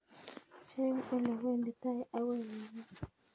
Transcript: Cheng ole wenditai akoi nairobi